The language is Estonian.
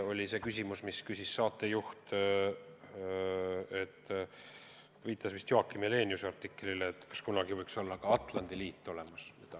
Saatejuht küsis – ta viitas vist Joakim Heleniuse artiklile –, kas kunagi võiks olla ka Atlandi liit olemas.